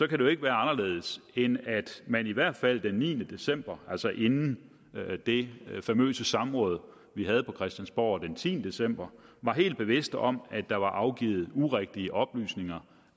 kan det jo ikke være anderledes end at man i hvert fald den niende december altså inden det famøse samråd vi havde på christiansborg den tiende december var helt bevidst om at der var afgivet urigtige oplysninger